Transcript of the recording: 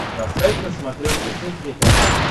поставь на смотрешке кухня тв